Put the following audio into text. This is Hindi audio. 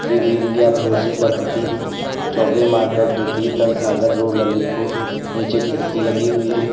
पी_बी इंडिया भरोसे का प्रतीक चौबे मार्केट द्वितीय तल सागर रोड ललितपुर नीचे खिड़की लगी हुई है।